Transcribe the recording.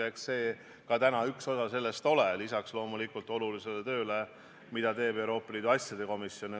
Ja eks neil täna oma osa ka ole, loomulikult lisaks olulisele tööle, mida teeb Euroopa Liidu asjade komisjon.